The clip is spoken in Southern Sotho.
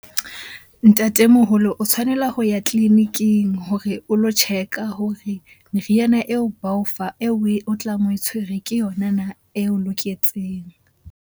Ntatemoholo, o tshwanela ho ya tleliniking hore o lo check-a hore meriana eo ba o fa, eo o tlang oe tshwere ke yona na eo loketseng?